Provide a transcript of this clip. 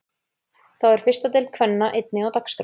Þá er fyrsta deild kvenna einnig á dagskrá.